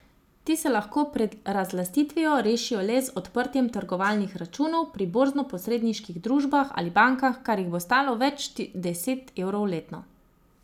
Ti se lahko pred razlastitvijo rešijo le z odprtjem trgovalnih računov pri borznoposredniških družbah ali bankah, kar jih bo stalo več deset evrov letno.